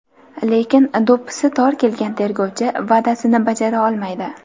Lekin do‘ppisi tor kelgan tergovchi va’dasini bajara olmaydi.